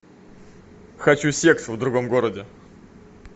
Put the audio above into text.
хочу секс в другом городе